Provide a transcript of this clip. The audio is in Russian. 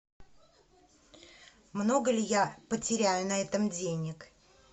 много ли я потеряю на этом денег